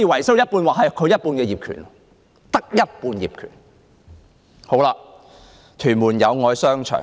此外，我們亦曾視察屯門的友愛商場。